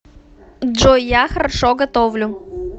джой я хорошо готовлю